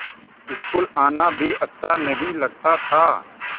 school आना भी अच्छा नहीं लगता था